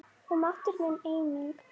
Og máttur minn einnig.